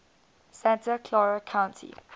santa clara county